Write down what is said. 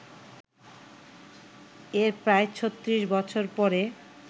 এর প্রায় ৩৬ বছর পরে